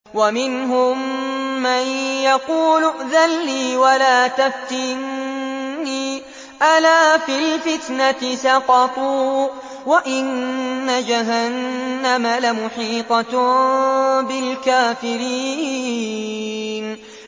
وَمِنْهُم مَّن يَقُولُ ائْذَن لِّي وَلَا تَفْتِنِّي ۚ أَلَا فِي الْفِتْنَةِ سَقَطُوا ۗ وَإِنَّ جَهَنَّمَ لَمُحِيطَةٌ بِالْكَافِرِينَ